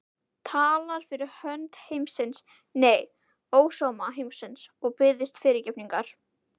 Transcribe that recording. Talar fyrir hönd heimsins, nei, ósóma heimsins, og biðst fyrirgefningar?